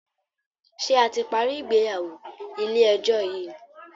ṣe a ti parí ìgbéyàwó ilé ejó yi ní?